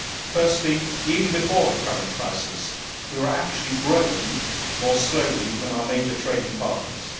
Firstly, even before the current crisis, we were actually growing more slowly than our major trading partners.